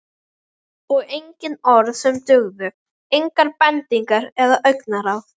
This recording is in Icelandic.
Og engin orð sem dugðu, engar bendingar eða augnaráð.